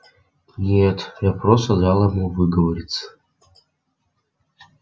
нет я просто дал ему выговориться